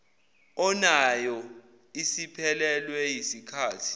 onayo isiphelelwe yisikhathi